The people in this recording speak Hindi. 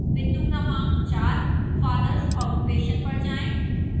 बिंदु क्रमांक 4 fathers occupation पर जाएं